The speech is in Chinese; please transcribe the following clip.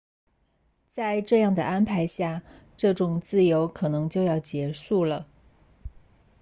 在这样的安排下这种自由可能就要结束了